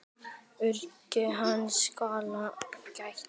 Öryggis hans skal gætt.